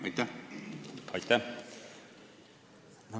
Aitäh!